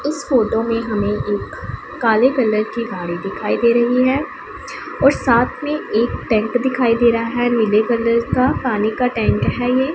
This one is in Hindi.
उस फोटो में हमें एक काले कलर की गाड़ी दिखाई दे रही है और साथ में एक टैंक दिखाई दे रहा है नीले कलर का पानी का टैंक है ये।